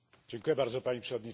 Pani Przewodnicząca!